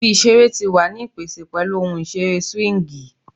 Ibi isere ti wa ni ipese pẹlu ohun isere swingi